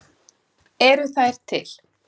Eru þær til?